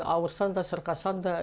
ауырсаң да сырқасаң да